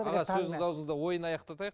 аға сөзіңіз ауызыңызда ойын аяқтатайық